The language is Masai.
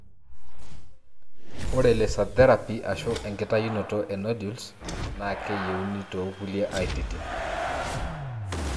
Ore Laser therapy ashu enkitayunoto e nodules na keyieuni tokulie aititin.